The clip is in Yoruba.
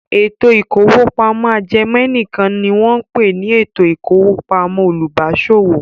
Ètò ìkówópamọ́ ajẹmẹ̀nìkan ni wọ́n ń pè ní ètò ìkówópamọ́ olùbáṣòwò.